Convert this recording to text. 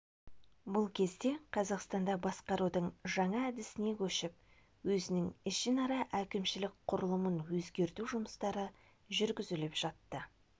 бұл кезде қазақстанда басқарудың жаңа әдісіне көшіп өзінің ішінара әкімшілік құрылымын өзгерту жұмыстары жүргізіліп жатты